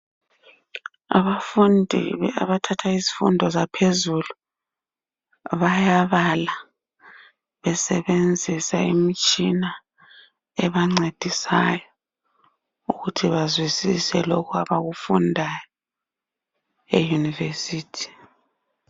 Abafundi abathatha izifundo zaphezulu bayabala besebenzisa imitshina ebancedisayo ukuthi bazwisise lokho abakufundayo eyunivesithi.